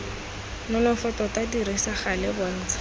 nonofo tota dirisa gale bontsha